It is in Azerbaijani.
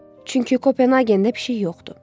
Çünki Kopenhagendə pişik yoxdur.